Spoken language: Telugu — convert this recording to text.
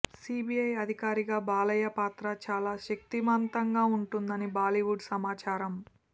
సీబీఐ అధికారిగా బాలయ్య పాత్ర చాలా శక్తిమంతంగా ఉంటుందని టాలీవుడ్ సమాచారమ్